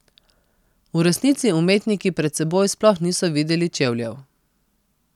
V resnici umetniki pred seboj sploh niso videli čevljev.